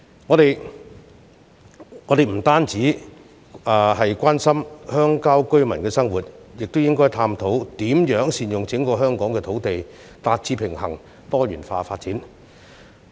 我們不單要關心鄉郊居民的生活，亦應探討如何善用整個香港的土地，以達致平衡及多元化的發展。